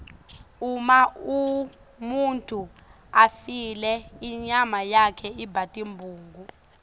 uma umuntfu afile inyama yakhe iba tibungu